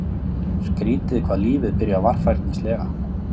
Skrýtið hvað lífið byrjar varfærnislega.